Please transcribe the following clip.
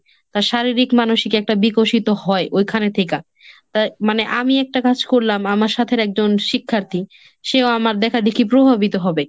তার শারীরিক মানসিক একটা বিকশিত হয় ওইখানে থিকা। তা মানে আমি একটা কাজ করলাম আমার সাথের একজন শিক্ষার্থী, সেও আমার দেখাদেখি প্রভাবিত হবে।